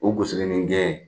O kunsigininjɛ